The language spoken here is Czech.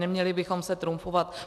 Neměli bychom se trumfovat.